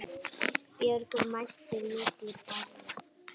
Björg mælti milli berja